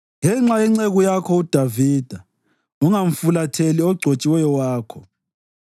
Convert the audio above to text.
Ngenxa yenceku yakho uDavida, ungamfulatheli ogcotshiweyo wakho.